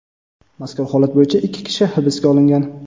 Mazkur holat bo‘yicha ikki kishi hibsga olingan.